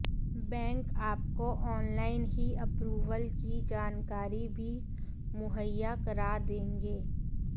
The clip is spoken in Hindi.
बैंक आपको ऑनलाइन ही अप्रूवल की जानकारी भी मुहैया करा देंगे